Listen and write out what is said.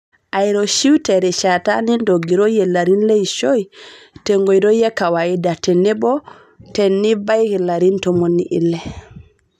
Airoshiu terishata nintogiroyie larin leishoi, tenkoitoi e kawaida tenebo tinibaiki larin ntomoni ile .